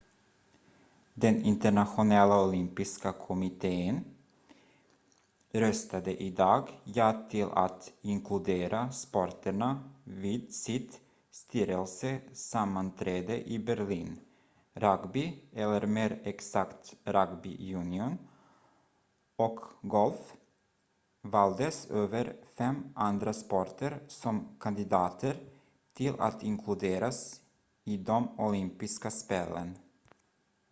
den internationella olympiska kommittén röstade idag ja till att inkludera sporterna vid sitt styrelsesammanträde i berlin rugby eller mer exakt rugby union och golf valdes över fem andra sporter som kandidater till att inkluderas i de olympiska spelen